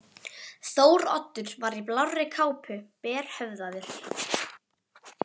Þóroddur var í blárri kápu, berhöfðaður.